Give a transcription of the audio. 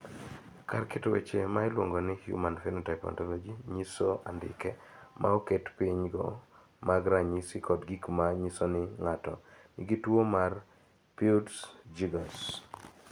Kar keto weche ma iluongo ni Human Phenotype Ontology nyiso andike ma oket piny go mag ranyisi kod gik ma nyiso ni ng�ato nigi tuo mar Peutz Jeghers.